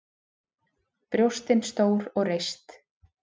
Brjóstin stór og reist.